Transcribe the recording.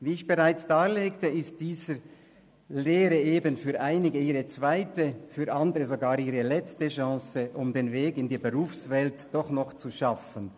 Wie ich bereits dargelegt habe, ist diese Lehre für einige ihre zweite, für andere sogar ihre letzte Chance, um den Weg in die Berufswelt doch noch zu schaffen.